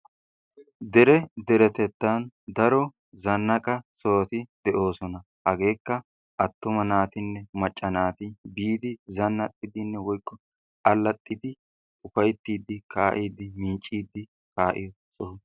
Dere deretettan daro zannaqa sohoti de'oosona. Hagekka attuma naatinne macca naati biidi zannaxxidinne woykko allaaxxidi, ufayttidi kaa'idi, miiccidi kaa'iyo soho.